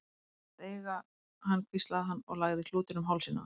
Þú mátt eiga hann hvíslaði hann og lagði klútinn um hálsinn á henni.